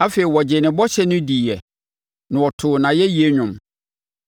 Afei wɔgyee ne bɔhyɛ no diiɛ na wɔtoo nʼayɛyie dwom.